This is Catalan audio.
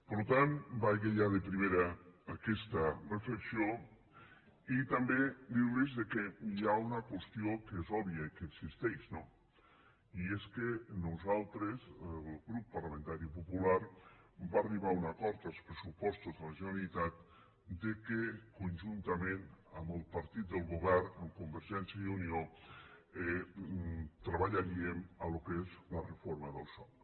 per tant vagi ja de primera aquesta reflexió i també dir los que hi ha una qüestió que és òbvia i que existeix no i és que nosaltres el grup parlamentari popular va arribar a un acord als pressupostos de la generalitat que conjuntament amb el partit del govern amb convergència i unió treballaríem el que és la reforma del soc